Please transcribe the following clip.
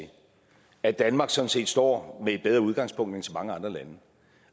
at danmark sådan set står med et bedre udgangspunkt end så mange andre lande